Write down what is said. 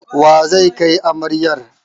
Wa zai kai amarayar?